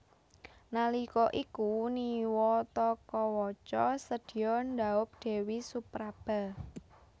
Nalika iku Niwatakawaca sedya ndhaup Dèwi Supraba